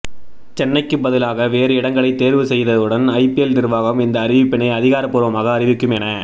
சென்னைக்கு பதிலாக வேறு இடங்களை தேர்வு செய்தவுடன் ஐபிஎல் நிர்வாகம் இந்த அறிவிப்பினை அதிகாரபூர்வமாக அறிவிக்கும் என